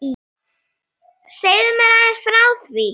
Segðu mér aðeins frá því.